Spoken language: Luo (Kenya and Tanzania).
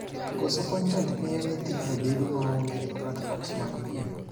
Koso kontent miyo nyithindo bedo maonge e platforms mag piem.